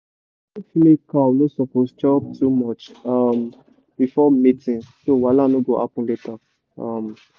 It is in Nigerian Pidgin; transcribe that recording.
young female cow no suppose chop too much um before mating so wahala no go happen later. um